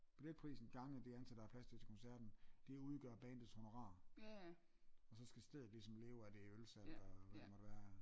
Billetprisen gange det antal der er plads til til koncerten det udgør bandets honorar og så skal stedet ligesom leve af det ølsalg og hvad der måtte være